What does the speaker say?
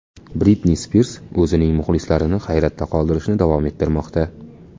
Britni Spirs o‘zining muxlislarini hayratda qoldirishni davom ettirmoqda.